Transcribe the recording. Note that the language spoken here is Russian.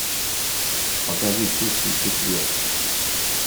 покажи чистый четверг